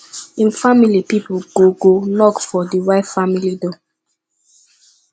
him family pipol go go knock for di wife family door